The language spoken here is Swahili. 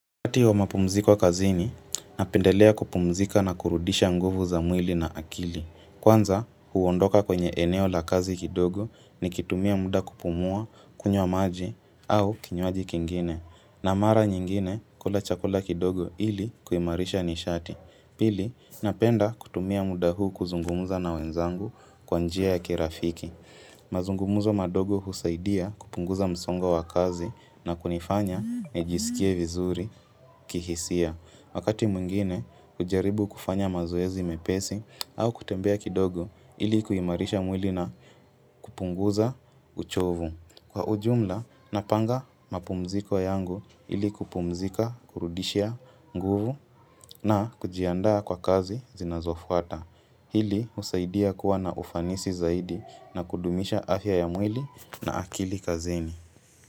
Wakati wa mapumziko kazini, napendelea kupumzika na kurudisha nguvu za mwili na akili. Kwanza, huondoka kwenye eneo la kazi kidogo nikitumia muda kupumua, kunywa maji au kinywaji kingine. Na mara nyingine, kula chakula kidogo ili kuimarisha nishati. Pili, napenda kutumia muda huu kuzungumuza na wenzangu kwa njia ya kirafiki. Mazungumuzo mandogo husaidia kupunguza msongo wa kazi na kunifanya nijiskie vizuri kihisia. Wakati mwingine, hujaribu kufanya mazoezi mepesi au kutembea kidogo ili kuimarisha mwili na kupunguza uchovu. Kwa ujumla, napanga mapumziko yangu ili kupumzika kurudishia nguvu na kujiandaa kwa kazi zinazofuata. Hili husaidia kuwa na ufanisi zaidi na kudumisha afya ya mwili na akili kazini.